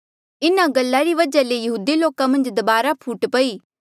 इन्हा गल्ला री वजहा ले यहूदी लोका मन्झ दबारा फूट पई